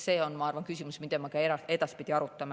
See on, ma arvan, küsimus, mida me ka edaspidi arutame.